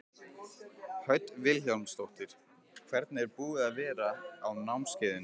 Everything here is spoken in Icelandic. Hödd Vilhjálmsdóttir: Hvernig er búið að vera á námskeiðinu?